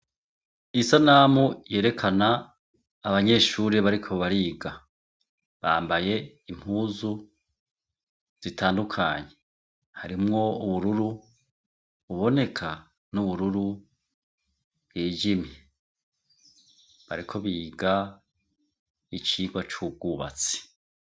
Isanamu yerekana abanyeshure bariko bariga. Bambaye impuzu zitandukanye. Harimwo ubururu buboneka n'ubururu bwijimye. Bariko biga icigwa c'ubwuhatsi.